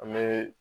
An bɛ